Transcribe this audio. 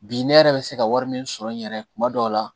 Bi ne yɛrɛ bɛ se ka wari min sɔrɔ n yɛrɛ kuma dɔw la